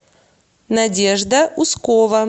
надежда ускова